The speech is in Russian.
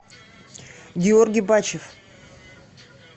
георгий бачев